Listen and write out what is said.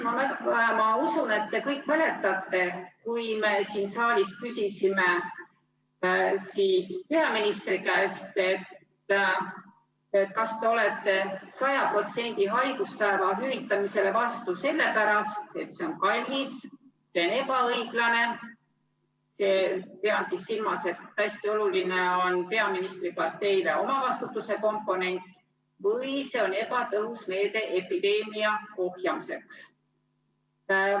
Ma usun, et te kõik mäletate, kui me siin saalis küsisime peaministri käest: kas te olete 100%‑lisele haiguspäevade hüvitamisele vastu sellepärast, et see on kallis, see on ebaõiglane – pean silmas, et hästi oluline on peaministri parteile omavastutuse komponent – või see on ebatõhus meede epideemia ohjamiseks?